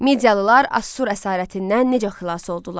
Midiyalılar Assur əsarətindən necə xilas oldular?